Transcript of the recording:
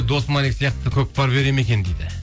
сияқты көкпар бере ме екен дейді